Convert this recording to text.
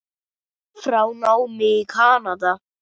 frá námi í Kanada.